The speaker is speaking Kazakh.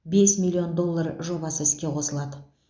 бес миллион доллар жобасы іске қосылады